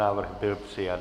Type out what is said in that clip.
Návrh byl přijat.